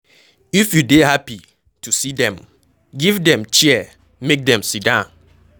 If you dey happy to see dem, give dem chair make dem sidon